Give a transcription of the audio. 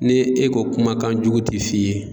Ne e ko kumakan jugu te f'i ye